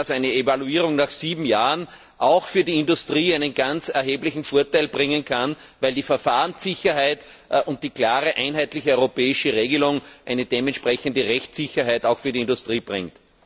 Eine Evaluierung nach sieben Jahren kann auch für die Industrie einen ganz erheblichen Vorteil bringen, weil die Verfahrenssicherheit und die klare einheitliche europäische Regelung entsprechende Rechtssicherheit auch für die Industrie bringt.